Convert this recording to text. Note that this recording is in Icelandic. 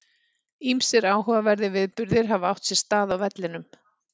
Ýmsir áhugaverðir viðburðir hafa átt sér stað á vellinum.